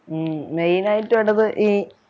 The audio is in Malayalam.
ഉം main ആയിട്ട് വേണ്ടത് ഈ